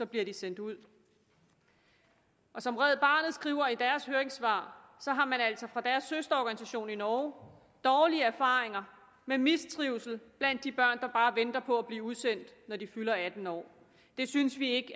bliver de sendt ud som red barnet skriver i deres høringssvar har man altså fra deres søsterorganisation i norge dårlige erfaringer med mistrivsel blandt de børn der bare venter på at blive udsendt når de fylder atten år det synes vi ikke